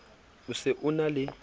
o se o na le